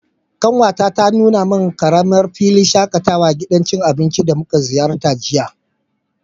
kanwata ta nuna min karamin filin shakatawa a gidan cin abinci da muka ziyarta jiya.